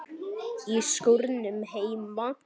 Í skúrnum heima.